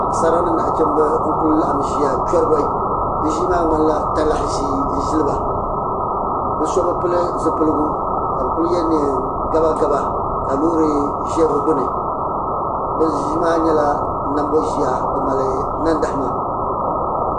Paɣasara ni naɣachiinba n kuli laɣim ʒiya chɔri bɔyi bi ʒii maa ŋmani la talahi ʒii n ʒili ba bi so bi pili zipiligu ka bi ku yɛ niɛn gaba gaba ka loori ʒɛ bi gbuni bi ʒii maa nyɛla nanbɔɣu ʒiya di mali nandahama.